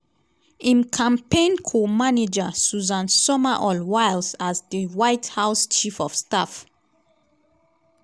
im campaign co-manager susan summerall wiles as di white house chief of staff.